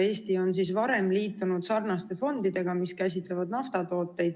Eesti on varem liitunud sarnaste fondidega, mis käsitlevad naftatooteid.